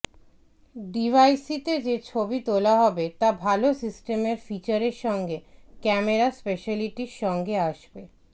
ডিভাইসটিতে যে ছবি তোলা হবে তা ভাল সিস্টেমের ফিচারের সঙ্গে ক্যামেরা স্পেশালিটির সঙ্গে আসবে